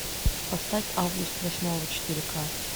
поставь август восьмого четыре ка